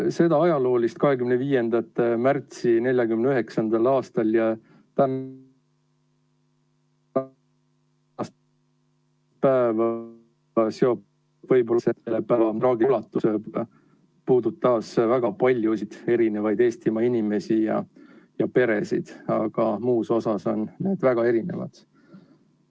Seda ajaloolist 25. märtsi 1949. aastal ...... puudutas väga paljusid Eestimaa inimesi ja peresid, aga muus osas on need väga erinevad.